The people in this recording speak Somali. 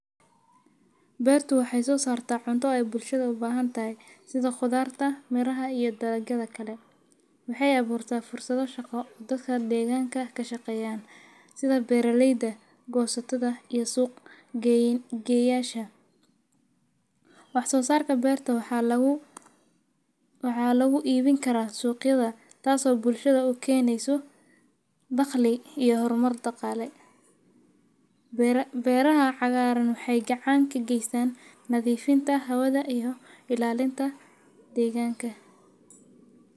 Beertu waxay soo saarta cunto ay bulshada u baahan tahay sida khudaarta, miraha iyo dagagala kala. Waxay aboortaa fursado shaqo dadka deegaanka ka shaqeeyan sida beeraleyda, goosatada iyo suuq gayayaasha. Wax soo saarka beerta waxaa lagu waxaa lagu iibin karaa suuqyada taasoo bulshada u keenaysa daqli iyo horumar dhaqaale. Beeraha cagaaran waxay gacaanka geysan nadiifinta hawada iho cilaalinta deegaanka.